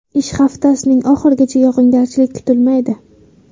Ish haftasining oxirigacha yog‘ingarchilik kutilmaydi.